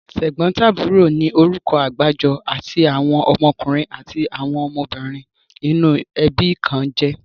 Tẹ̀gbọ́ntàbúrò ni orúkọ àgbájọ tí àwọn ọmọkùnrin àti ọmọbìnrin inú ẹbí kan jẹ́.